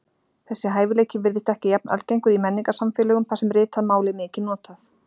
Þessi hæfileiki virðist ekki jafn algengur í menningarsamfélögum þar sem ritað mál er mikið notað.